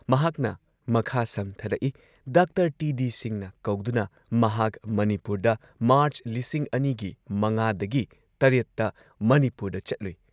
ꯃꯍꯥꯛꯅ ꯃꯈꯥ ꯁꯝꯊꯔꯛꯏ‑ ꯗꯥꯛꯇꯔ ꯇꯤ ꯗꯤ ꯁꯤꯡꯍꯅ ꯀꯧꯗꯨꯅ ꯃꯍꯥꯛ ꯃꯅꯤꯄꯨꯔꯗ ꯃꯥꯔꯆ ꯲꯰꯰꯰ ꯒꯤ ꯵ ꯗꯒꯤ ꯷ ꯇ ꯃꯅꯤꯄꯨꯔꯗ ꯆꯠꯂꯨꯏ ꯫